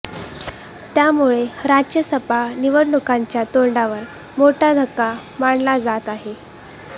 त्यामुळे राज्यसभा निवडणुकांच्या तोंडावर मोठा धक्का मानला जात आहे